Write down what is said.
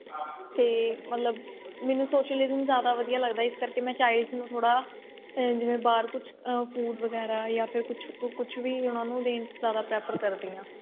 ਤੇ ਮਤਲਬ ਮੈਨੂੰ socialism ਜਿਆਦਾ ਵਧੀਆ ਲੱਗਦਾ ਇਸ ਕਰਕੇ ਮੈਂ Childs ਨੂੰ ਥੋੜਾ ਭਰ ਕੁੱਝ food ਵਗੈਰਾ ਯਾ ਫਿਰ ਕੁੱਝ ਕੁੱਝ ਵੀ ਉਹਨਾ ਨੂੰ ਦੇਣ ਚ ਜਿਆਦਾ prefer ਕਰਦੀ ਆ